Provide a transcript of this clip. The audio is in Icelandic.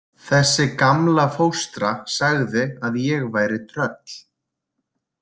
Þessi gamla fóstra sagði að ég væri tröll.